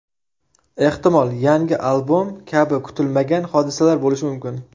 Ehtimol, yangi albom kabi kutilmagan hodisalar bo‘lishi mumkin”.